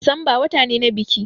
Disamba wata ne na biki